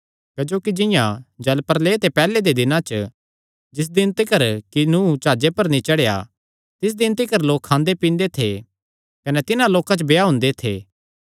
क्जोकि जिंआं जल प्रलयै ते पैहल्ले दे दिनां च जिस दिन तिकर कि नूह जाह्जे पर नीं चढ़ेया तिस दिन तिकर लोक खांदे पींदे थे कने तिन्हां लोकां च ब्याह हुंदे थे